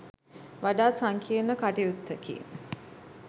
වඩා සංකීර්ණ කටයුත්තකි.